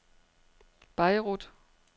Beirut